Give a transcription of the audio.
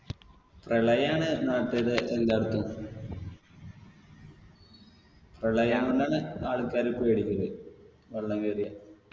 പ്രളയാണ് നാട്ടിത് എല്ലാടത്തും പ്രളയായോണ്ടാണ് ആൾക്കാര് പേടിച്ചത് വെള്ളം കേറിയ